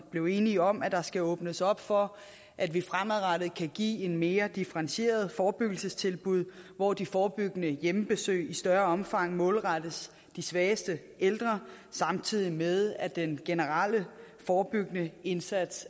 blev enige om at der skal åbnes op for at vi fremadrettet kan give et mere differentieret forebyggelsestilbud hvor de forebyggende hjemmebesøg i større omfang målrettes de svageste ældre samtidig med at den generelle forebyggende indsats